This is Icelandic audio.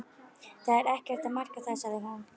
Það er ekkert að marka það sagði hún.